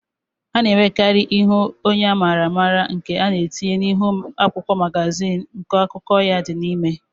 A na-enwekarì ihu onye a maara amara nke a na-etinye n'ihu akwụkwọ magazin nke akụkọ ya dị n'ime